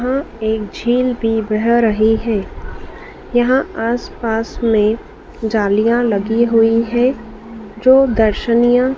यहां एक झील भी बेह रही हैं यहां आसपास में जालियां लगी हुई हैं जो दर्शनिया--